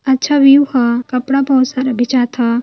अच्छा व्यू ह। कपडा बहुत सारा बेचात ह।